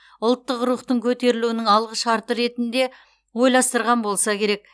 ұлттық рухтың көтерілуінің алғышарты ретінде ойластырған болса керек